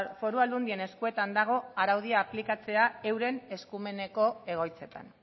foru aldundien eskuetan dago araudia aplikatzea euren eskumeneko egoitzetan